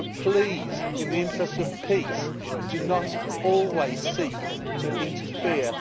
But please, in the interests of peace, do not always seek to interfere